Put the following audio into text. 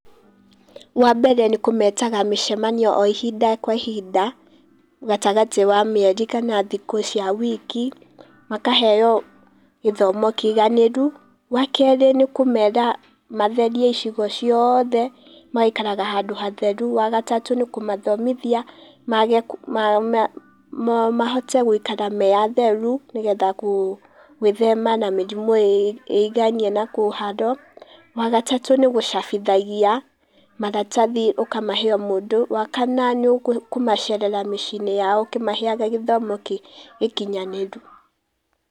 Wa mbere nĩ kũmetaga mĩcemanio o ihinda kwa ihinda, gatagatĩ wa mĩeri kana thikũ cia wiki makaheo gĩthomo kĩiganĩru, wa kerĩ nĩ kũmera matherie icigo ciothe magaikaraga handũ hatheru, wa gatatũ nĩ kũmathomithia mage, mahote gũikara marĩ atheru nĩgetha gwĩthema na mĩrimũ ĩiganie na kũharwo, wa gatatũ gũcabithia maratathi ũkamahe o mũndũ, wa kana nĩ kũmacerera mĩciĩ-inĩ ya o ũkĩmaheaga gĩthomo gĩkinyanĩru.